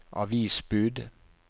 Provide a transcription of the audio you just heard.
avisbud